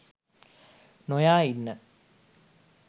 නොයා ඉන්න.